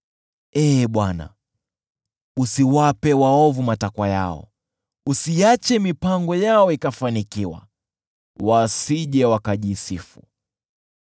Ee Bwana , usiwape waovu matakwa yao, usiache mipango yao ikafanikiwa, wasije wakajisifu.